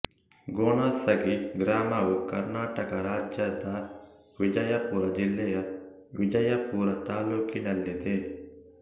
ಘೊನಸಗಿ ಗ್ರಾಮವು ಕರ್ನಾಟಕ ರಾಜ್ಯದ ವಿಜಯಪುರ ಜಿಲ್ಲೆಯ ವಿಜಯಪುರ ತಾಲ್ಲೂಕಿನಲ್ಲಿದೆ